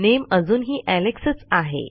नामे अजूनही एलेक्स च आहे